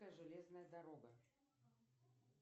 железная дорога